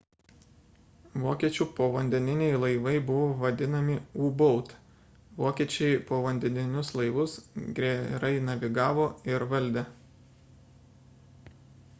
vokiečių povandeniniai laivai buvo vadinami u boat vokiečiai povandeninius laivus gerai navigavo ir valdė